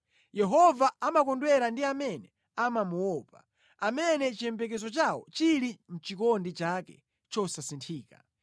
Yehova amakondwera ndi amene amamuopa, amene chiyembekezo chawo chili mʼchikondi chake chosasinthika.